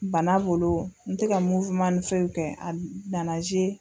Bana bolo n tɛ ka ni fɛw kɛ a nana